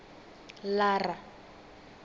lara